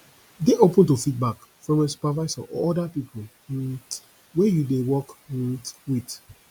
dey open to feedback from your supervisor or oda pipo um wey you dey work um with